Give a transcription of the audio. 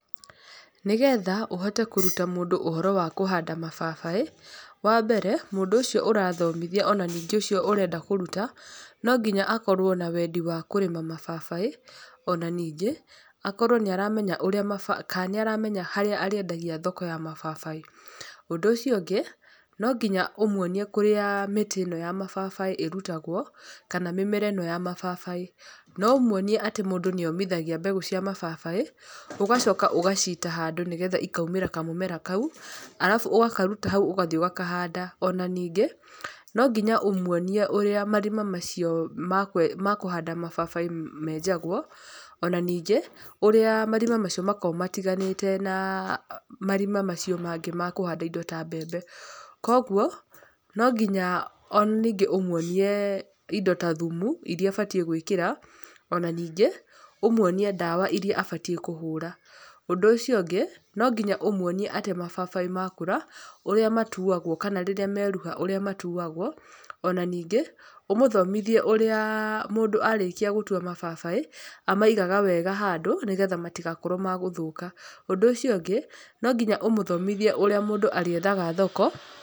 Nĩgetha ũhote kũruta mũndũ ũhoro wa kũhanda mababaĩ, wa mbere, mũndũ ũcio ũrathomithia ona ningĩ ũcio ũrenda kũruta, no nginya akorwo na wendi wa kũrĩma mababaĩ. Ona ningĩ, akorwo nĩ aramenya ũrĩa ka nĩ aramenya harĩa arĩendagia thoko ya mababaĩ. Ũndũ ũcio ũngĩ, no nginya ũmuonie kũrĩa mĩtĩ ĩno ya mababaĩ ĩrutagwo, kana mĩmera ĩno ya mababĩ. No ũmuonie atĩ mũndũ nĩ omithagia mbegũ cia mababaĩ, ũgacoka ũgaciita handũ nĩgetha ikaumĩra kamũmera kau, arabu ũgakaruta hau ũgathi ũgakanda. Ona ningĩ, no nginya ũmuonie ũrĩa marima macio ma kũhanda mababaĩ menjagwo. Ona ningĩ, ũrĩa marima macio makoragwo matiganĩte na marima macio mangĩ ma kũhanda indo ta mbembe. Koguo, no nginya ona ningĩ ũmuonie indo ta thumu, irĩa abatiĩ gwĩkĩra, ona ningĩ, ũmuonie ndawa irĩa abatiĩ kũhũra. Ũndũ ũcio ũngĩ, no nginya ũmuonie atĩ mababaĩ makũra, ũrĩa matuagwo kana rĩrĩa meruha ũrĩa matuagwo. Ona ningĩ, ũmũthomithie ũrĩa mũndũ arĩkia gũtua mababaĩ, amaigaga wega handũ, nĩgetha matigakorwo ma gũthũka. Ũndũ ũcio ũngĩ, no nginya ũmũthomithie ũrĩa mũndũ arĩethaga thoko.